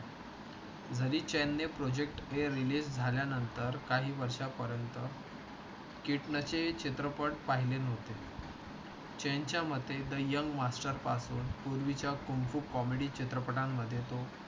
जरी चेन्नई project आहे. release झाल्यानंतर काही वर्षा पर्यंत. किटणे चे चित्रपट पाहिले नव्हते. चेंज च्या मते the young master पासून पूर्वीच्या कुंकू comedy चित्रपटां मध्ये तो